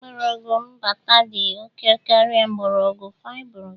Mgbọrọgwụ mgbata dị oke karịa mgbọrọgwụ fibrous